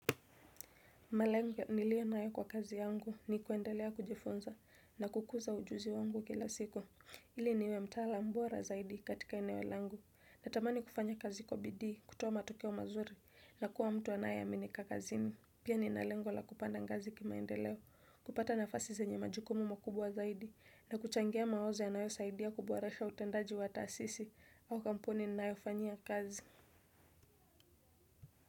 Malengo niliyo nayo kwa kazi yangu ni kuendelea kujifunza na kukuza ujuzi wangu kila siku. Ili niwe mtalamu bora zaidi katika eneo langu natamani kufanya kazi kwa bidii kutoa matokeo mazuri na kuwa mtu anayeaminika kazini. Pia nina lengo la kupanda ngazi kimaendeleo kupata nafasi zenye majukumu makubwa zaidi na kuchangia mawazo yanayo saidia kuboresha utendaji wa taasisi au kampuni ninayofanyia kazi.